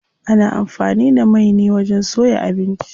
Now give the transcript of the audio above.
Ana amfani da mai ne wajen soya abinci.